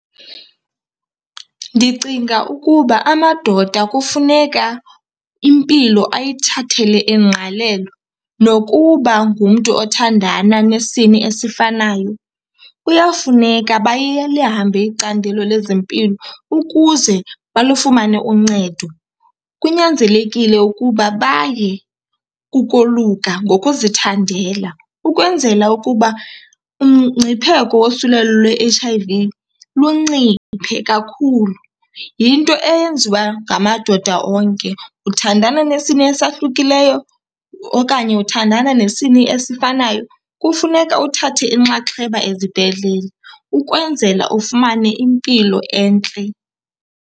Ndicinga ukuba amadoda kufuneka impilo ayithathele ingqalelo. Nokuba ngumntu othandana nesini esifanayo kuyafuneka icandelo lezempilo ukuze balufumane uncedo. Kunyanzelekile ukuba baye kukoluka ngokuzithandela ukwenzela ukuba umngcipheko wosulelo lwe-H_I_V lunciphe kakhulu. Yinto eyenziwa ngamadoda onke, uthandana nesini esahlukileyo okanye uthandana nesini esifanayo, kufuneka uthathe inxaxheba ezibhedlele ukwenzela ufumane impilo entle.